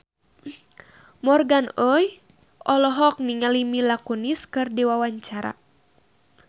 Morgan Oey olohok ningali Mila Kunis keur diwawancara